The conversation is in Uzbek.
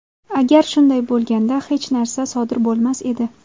Agar shunday bo‘lganda, hech narsa sodir bo‘lmas edi.